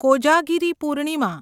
Kojagiri Purnima